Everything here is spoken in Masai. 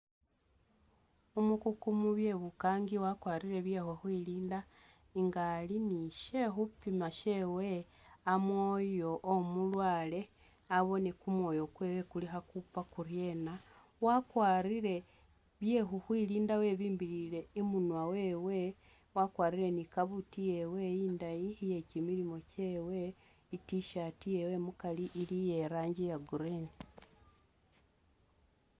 Umukugu mubye bukaangi wakwarile bye khukhwilinda nga ali ni shekhupiima shewe amwooyo womulwaale aboone kumwooyo kweewe kuli kho kukhuupa kuryena wakwarile byekhukhwilinda wabimbilile imunwa wewe wakwarile ni kabuuti iyeewe indaayi iye kyimilimo kyewe i't-shirt yewe mukaari ili iye'langi iya green